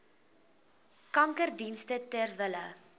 kankerdienste ter wille